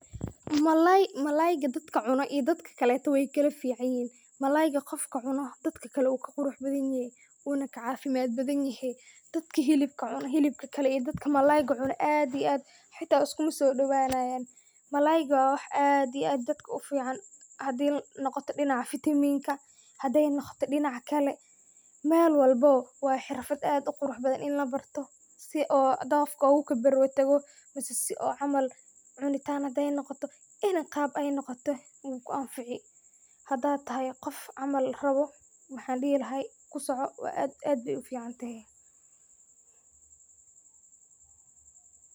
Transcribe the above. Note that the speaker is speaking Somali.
Malalay malayga, dadka cuunoh iyo dadkaleyto way kala ficanyahin malayga Qoofka cuunoh dadkali wuu ka quruxbathanyahay wuu na ka cafimad bahanyahay, dadka helibka cuunoh iyo dadka malayanga cuunoh aad iyo aad xata iskuma sodowathan malayga wa wax ad iyo aad dadka u fican handi noqotoh dinaca vitiminga handay noqotoh dinaca Kali meel walbo wa rafat aad u quuraxbathan ini lo baartoh si oo ddofga ugu kabar daagoh mise si oo caml cunitanga handey noqotoh qaab aay noqotoh, wuu ku anfeci handa thay Qoof camal rabah waxan dehi lahay kusoco aad iyo aad Aya Aya u ficantahay.